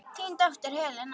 Þín dóttir Helena.